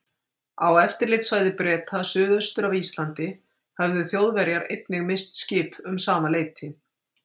Á eftirlitssvæði Breta suðaustur af Íslandi höfðu Þjóðverjar einnig misst skip um sama leyti.